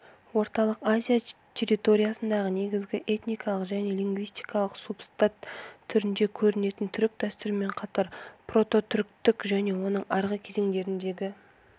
орталық азия территориясындағы негізгі этникалық және лингвистикалық субстрат түрінде көрінетін түрік дәстүрімен қатар прототүріктік және оның арғы кезеңдеріндегі